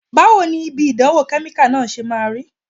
Báwo ni ibi ìdánwò kẹ́míkà náà ṣe máa rí?